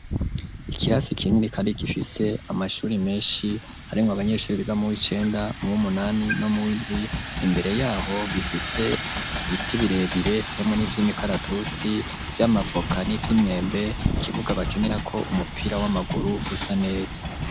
Ikirasi kinini kandi gifise amashuri menshi, harimwo abanyeshuri biga mu w'icenda mu w'umunani no mu w'indwi, imbere y'aho gifise ibiti birebire, harimwo n'ivy'imikaratusi, vy'amavoka n'ivy'imyembe, ikibuga bakinirako umupira w'amaguru gisa neza.